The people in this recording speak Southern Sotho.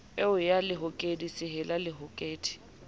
eo ya lehokedi sehella lehokedi